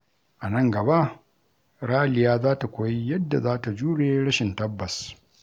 A nan gaba, Raliya za ta koyi yadda za ta jure rashin tabbas.